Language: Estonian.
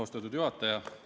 Austatud juhataja!